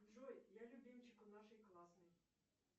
джой я любимчик у нашей классной